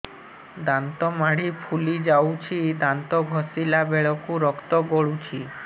ଦାନ୍ତ ମାଢ଼ୀ ଫୁଲି ଯାଉଛି ଦାନ୍ତ ଘଷିଲା ବେଳକୁ ରକ୍ତ ଗଳୁଛି